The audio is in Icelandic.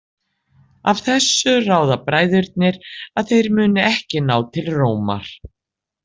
Af þessu ráða bræðurnir að þeir muni ekki ná til Rómar.